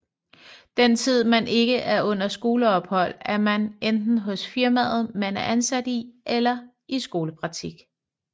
Den tid man ikke er under skoleophold er man enten hos firmaet man er ansat i eller i skolepraktik